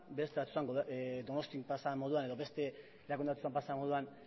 beste batzuetan donostian pasa den moduan edo beste erakunde batzuetan pasa den moduan